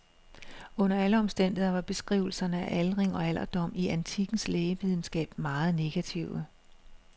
Under alle omstændigheder var beskrivelserne af aldring og alderdom i antikkens lægevidenskab meget negative.